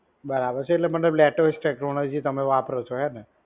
બરાબર છે, એટલે મતલબ latest technology તમે વાપરો છો, હેને?